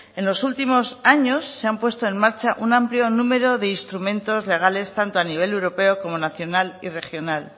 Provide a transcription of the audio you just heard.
en los últimos años se han puesto en marcha un amplio número de instrumentos legales tanto a nivel europeo como nacional y regional